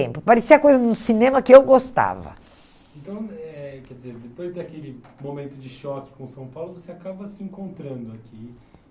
Parecia coisa do cinema que eu gostava. Então, eh quer dizer, depois daquele momento de choque com São Paulo, você acaba se encontrando aqui?